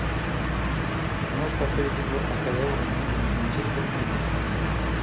можешь повторить игру апл между манчестером и лестером